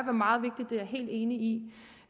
er meget vigtig det er jeg helt enig